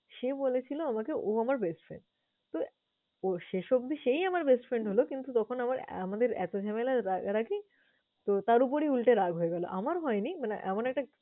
সে বলেছিল আমাকে ও আমার best friend । তো ওর শেষ অব্দি সেই আমার best friend হলো কিন্তু তখন আমার ~ আমাদের এত ঝামেলা, রাগারাগি তো তার উপরে উলটে রাগ হয়ে গেল। আমার হয়নি, মানে এমন একটা